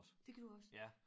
Det gjorde også